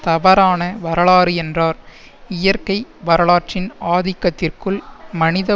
தவறான வரலாறு என்றார் இயற்கை வரலாற்றின் ஆதிக்கத்திற்குள் மனித